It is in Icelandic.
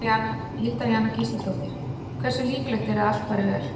Hilda Jana Gísladóttir: Hversu líklegt er að allt fari vel?